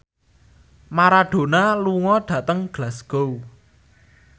Maradona lunga dhateng Glasgow